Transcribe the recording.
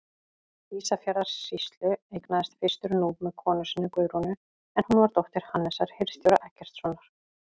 Ísafjarðarsýslu, eignaðist fyrstur Núp með konu sinni, Guðrúnu, en hún var dóttir Hannesar hirðstjóra Eggertssonar.